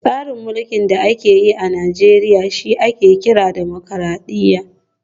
Tsarin mulkin da ake yi a Najeriya shi ake kira Dimokuradiyya